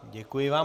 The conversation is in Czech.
Děkuji vám.